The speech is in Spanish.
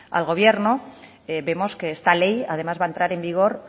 al gobierno vemos que esta ley además va a entrar en vigor